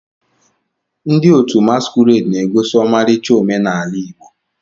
Ndị otu masquerade na-egosi ọmarịcha omenala Igbo.